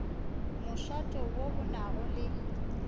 mošate wo o nago le